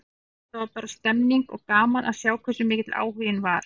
Það var bara stemmning, og gaman að sjá hversu mikill áhuginn var.